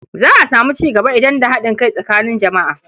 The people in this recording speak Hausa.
Za a samu cigaba idan da haɗin kai tsakanin jama'a.